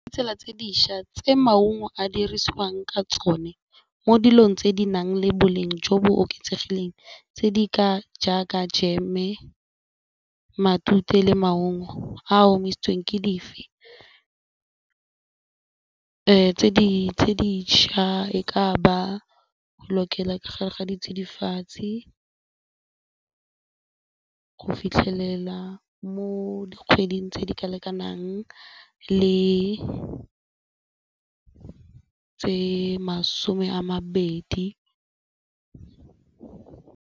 Tsela tse dišwa tse maungo a dirisiwang ka tsone mo dilong tse di nang le boleng jo bo oketsegileng tse di ka jaaka jam-e, matute le maungo a a omisitsweng ke dife? Tse dišwa e ba ka bo lokelang ka gare ga ditsidifatsi go fitlhelela mo mo dikgweding tse di ka lekanang le tse masome a mabedi.